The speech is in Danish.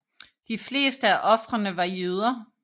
De fleste af ofrene var jøder